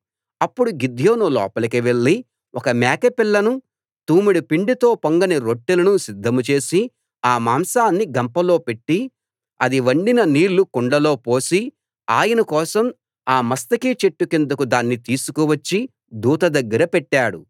అప్పుడు గిద్యోను లోపలికి వెళ్లి ఒక మేక పిల్లను తూమెడు పిండితో పొంగని రొట్టెలను సిద్ధం చేసి ఆ మాంసాన్ని గంపలో పెట్టి అది వండిన నీళ్ళు కుండలో పోసి ఆయన కోసం ఆ మస్తకి చెట్టు కిందకు దాన్ని తీసుకువచ్చి దూత దగ్గర పెట్టాడు